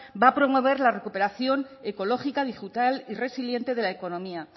va a promover la recuperación ecológica digital y resiliente de la economía